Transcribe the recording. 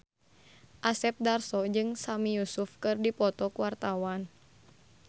Asep Darso jeung Sami Yusuf keur dipoto ku wartawan